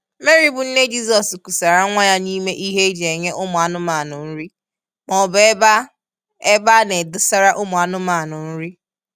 Mary bụ nne Jizọs kusara nwa ya n'ime ihe e ji enye ụmụ anụmanụ nri maọbụ ebe a ebe a na-edosara ụmụ anụmanụ nri.